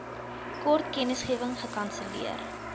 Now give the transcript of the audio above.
kort kennisgewing gekanselleer